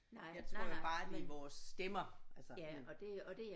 Jeg tror jo bare det er vores stemmer altså sådan